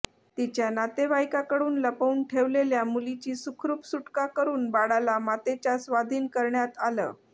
तिच्या नातेवाईकाकडे लपवून ठेवलेल्या मुलीची सुखरुप सुटका करुन बाळाला मातेच्या स्वाधीन करण्यात आलं